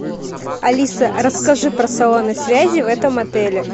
алиса расскажи про салоны связи в этом отеле